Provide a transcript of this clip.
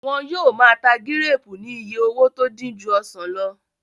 Wọ́n yóò máa ta gíréèpù ní iye owó tó dín ju ọsàn lọ